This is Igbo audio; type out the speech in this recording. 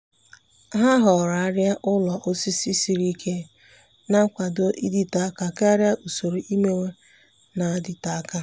há họ̀ọ̀rọ̀ árị́à ụ́lọ̀ osisi siri ike nà-ákwàdò ị́dị́tè áká kàrị́a usoro iméwé nà-adị́tè áká.